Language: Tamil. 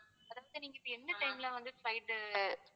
first நீங்க எந்த time ல வந்து flight உ